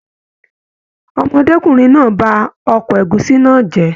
Ọmọdekunrin náà ba oko ẹ̀gúsí náà jẹ.